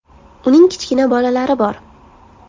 Uning kichkina bolalari bor.